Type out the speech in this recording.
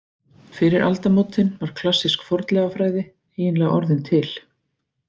Fyrir aldamótin var klassísk fornleifafræði eiginlega orðin til.